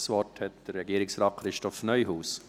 Das Wort hat Regierungsrat Neuhaus.